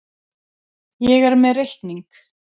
Ég er með reikning.